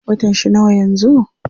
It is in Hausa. Watan shi nawa yanzu?